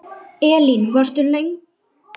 Elín: Þú varst löngu ákveðin?